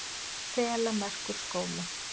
Þelamerkurskóla